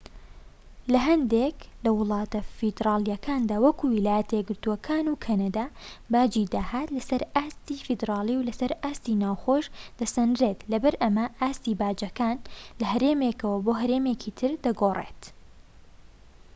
لە هەندێك لە وڵاتە فیدراڵیەکاندا وەکو ویلایەتە یەکگرتوەکان و کەنەدا باجی داهات لەسەر ئاستی فیدرالی و لەسەر ئاستی ناوخۆییش دەسەنرێت لەبەر ئەمە ئاستی باجەکان لە هەرێمێکەوە بۆ هەرێمێکی تر دەگۆڕێت